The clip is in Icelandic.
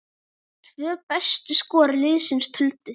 Tvö bestu skor liðsins töldu.